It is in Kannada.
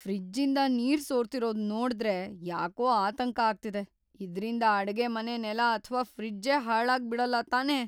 ಫ್ರಿಜ್ಜಿಂದ ನೀರ್ ಸೋರ್ತಿರೋದ್‌ ನೋಡ್ದ್ರೆ ಯಾಕೋ ಆತಂಕ ಆಗ್ತಿದೆ - ಇದ್ರಿಂದ ಅಡ್ಗೆಮನೆ ನೆಲ ಅಥ್ವಾ ಫ್ರಿಜ್ಜೇ ಹಾಳಾಗ್ಬಿಡಲ್ಲ ತಾನೇ?!